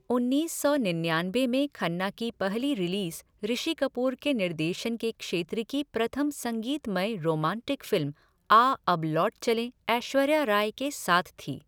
उन्नीस सौ निन्यानबे में खन्ना की पहली रिलीज ऋषि कपूर के निर्देशन के क्षेत्र की प्रथम संगीतमय रोमांटिक फ़िल्म आ अब लौट चलें ऐश्वर्या राय के साथ थी।